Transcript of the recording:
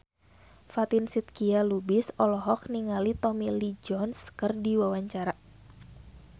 Fatin Shidqia Lubis olohok ningali Tommy Lee Jones keur diwawancara